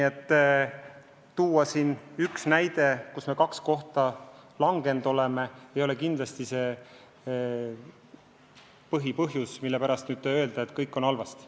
Te toote siin ühe näite tabelist, kus me kaks kohta langenud oleme, aga see ei ole kindlasti põhjus, mille pärast öelda, et kõik on halvasti.